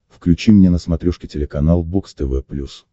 включи мне на смотрешке телеканал бокс тв плюс